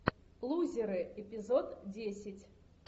лузеры эпизод десять